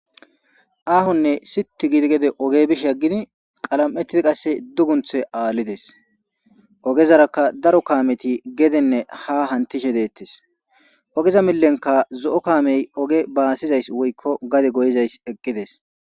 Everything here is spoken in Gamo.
aahonne situ gidi gede oge bishe aggidi qalam7ettidi qasse dugunthe aallides ogezarakka daro kaameti gedenne ha hantishe deettes ogeza millenka zo7o kaamey oge baasizays woykko gade goyizayss eqqides